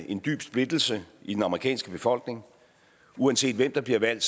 en dyb splittelse i den amerikanske befolkning uanset hvem der bliver valgt